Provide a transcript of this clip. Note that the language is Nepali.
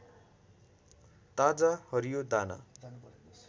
ताजा हरियो दाना